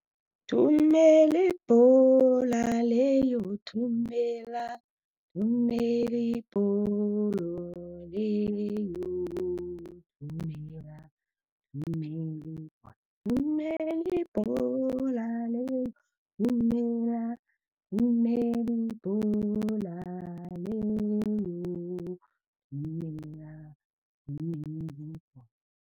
Thumela ibhola leyo, thumela, thumela ibholo leyo, thumela thumela ibholo. Thumela ibhola leyo, thumela thumela ibhola leyo. Thumela thumela ibholo.